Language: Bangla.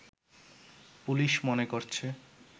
পুলিশ মনে করছে